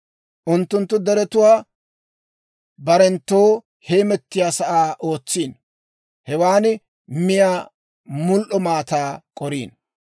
Unttunttu deretuwaa barenttoo heemettiyaa sa'aa ootsiino; hewan miyaa mul"o maataa k'oriino.